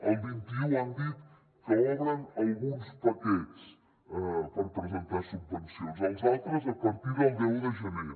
el vint un han dit que obren alguns paquets per presentar subvencions els altres a partir del deu de gener